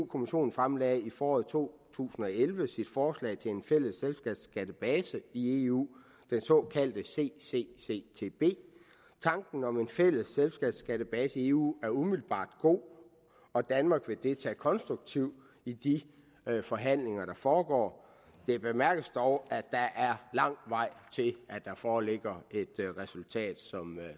kommissionen fremlagde i foråret to tusind og elleve sit forslag til en fælles selskabsskattebase i eu den såkaldte ccctb tanken om en fælles selskabsskattebase i eu er umiddelbart god og danmark vil deltage konstruktivt i de forhandlinger der foregår det bemærkes dog at der er lang vej til der foreligger et resultat